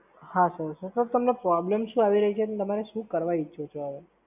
હાં Sir, તો Sir તમને Problem શું આવી રહી છે અને તમારે શું કરવા ઈચ્છો છો હવે?